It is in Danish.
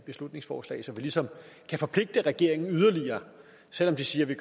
beslutningsforslag så vi ligesom kan forpligte regeringen yderligere selv om de siger at vi